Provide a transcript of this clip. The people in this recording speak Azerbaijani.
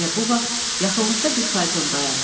Elə bu vaxt yaxınlıqda bir fayton dayandı.